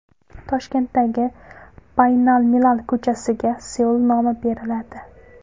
Toshkentdagi Baynalmilal ko‘chasiga Seul nomi beriladi.